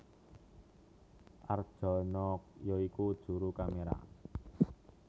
Arjono ya iku juru kaméra